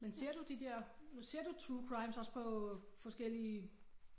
Men ser du de der men ser du True crimes også på forskellige